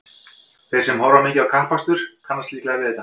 Þeir sem horfa mikið á kappakstur kannast líklega við þetta.